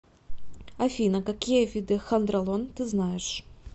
афина какие виды хондролон ты знаешь